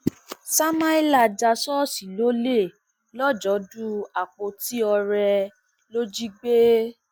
samalia já ṣọọṣì lólè lọjọdù àpótí oore ló jí gbé